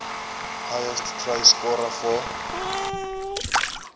highest try scorer for